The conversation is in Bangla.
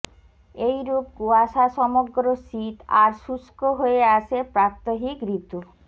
এইরূপ কুয়াশাসমগ্র শীত আর শুষ্ক হয়ে আসে প্রাত্যহিক ঋতু